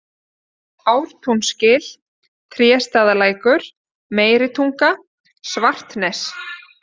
Ártúnsgil, Tréstaðalækur, Meiritunga, Svartnes